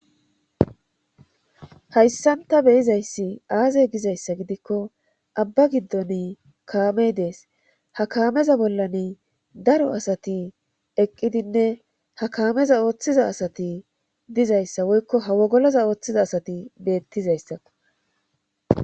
hayssanta beyizayssi aazey gizayssa gidikko abba giddon kaamey dees ha kaameza bollani daro asati eqqidinne ha kaameza ooththiza asati dizayssa woykko ha wogoloza ooththiza asati beettizayssao